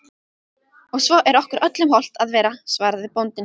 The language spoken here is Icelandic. Og svo er okkur öllum hollt að vera, svaraði bóndinn.